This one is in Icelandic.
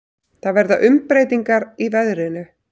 Það verða umbreytingar í veðrinu.